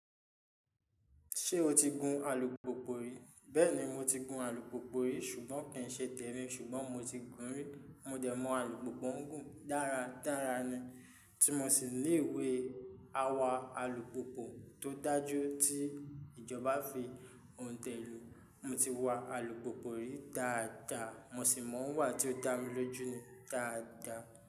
Ṣé o ti gun alùpùpù rí? Bẹ́ẹ̀ni mo ti gun alùpùpù rí ṣùgbọ́n kì í ṣe tẹ́ni ṣùgbọ́n mo ti gun ún rí. Mo dẹ̀ mọ alùpùpù ń gùn dára dára ni. Tí mo n sì lé ìwé awà alùpùpù tó dájú tí ìjọba fi òǹtẹ̀ lu. Mo ti wa alùpùpù rí dáadáa mo sì mọ̀ ọ́n wà tí ó dá mi lójú ni dáadáa.